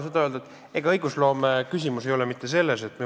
See oli nendinguline küsimus.